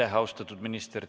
Aitäh, austatud minister!